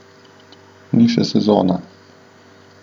Ni še sezona.